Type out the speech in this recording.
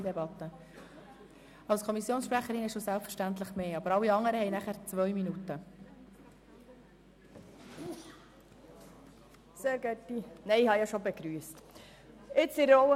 Als Kommissionssprecherin erhalten Sie selbstverständlich mehr Redezeit, sonst gilt eine Redezeit von 2 Minuten.